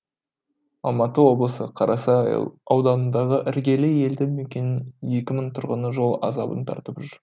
алматы облысы қарасай ауданындағы іргелі елді мекенінің екі мың тұрғыны жол азабын тартып жүр